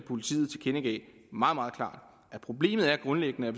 politiet tilkendegav meget meget klart at problemet grundlæggende er